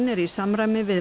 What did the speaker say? er í samræmi við